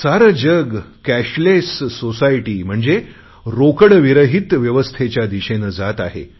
सारे जग cashless society म्हणजे रोकडविरहीत व्यवस्थेच्या दिशेने जात आहे